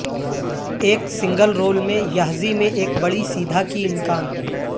ایک single role میں یحزی میں ایک بڑی سیدھا کی امکان